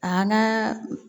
A naa